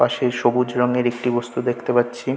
পাশে সবুজ রংয়ের একটি বস্তু দেখতে পাচ্ছি ।